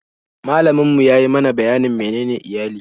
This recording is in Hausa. Malamin mu ya yi mana bayanin menene iyali